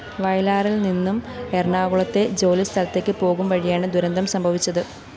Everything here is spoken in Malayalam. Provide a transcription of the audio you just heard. വയലാറില്‍നിന്നും എറണാകുളത്തെ ജോലിസ്ഥലത്തേക്ക് പോകുംവഴിയാണ് ദുരന്തം സംഭവിച്ചത്